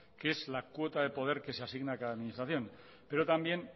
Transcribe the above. que es la cuota de poder que se asigna a cada administración pero también